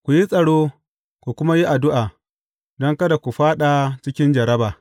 Ku yi tsaro, ku kuma yi addu’a, don kada ku fāɗi cikin jarraba.